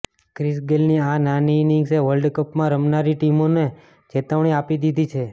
Chris ગેલની આ નાની ઇનિંગ્સે વર્લ્ડકપમાં રમનારી ટીમોને ચેતવણી આપી દીધી છે